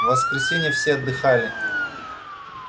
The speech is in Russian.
в воскресенье все отдыхали